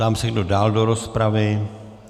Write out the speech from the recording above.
Ptám se, kdo dál do rozpravy.